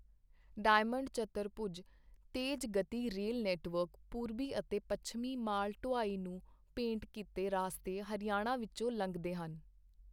Diamond ਚਤੁਰਭੁਜ ਤੇਜ ਗਤੀ ਰੇਲ ਨੈੱਟਵਰਕ, ਪੂਰਬੀ ਅਤੇ ਪੱਛਮੀ ਮਾਲ ਢੁਆਈ ਨੂੰ ਭੇਂਟ ਕੀਤੇ ਰਾਸਤੇ ਹਰਿਆਣਾ ਵਿੱਚੋਂ ਲੰਘਦੇ ਹਨ।